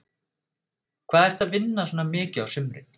Hvað ertu að vinna mikið á sumrin?